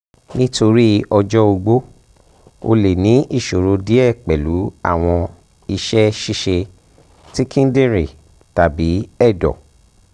um nitori ọjọ ogbó o le ni iṣoro diẹ pẹlu awọn iṣẹ-ṣiṣe ti kidinrin tabi ẹdọ